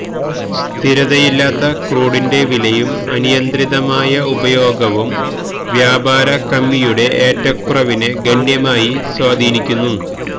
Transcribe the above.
സ്ഥിരതയില്ലാത്ത ക്രൂഡിന്റെ വിലയും അനിയന്ത്രിതമായ ഉപയോഗവും വ്യാപാര കമ്മിയുടെ ഏറ്റക്കുറവിനെ ഗണ്യമായി സ്വാധീനിക്കുന്നു